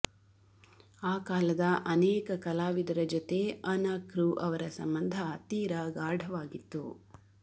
ಆ ಕಾಲದ ಅನೇಕ ಕಲಾವಿದರ ಜೊತೆ ಅನಕೃ ಅವರ ಸಂಬಂಧ ತೀರ ಗಾಢವಾಗಿತ್ತು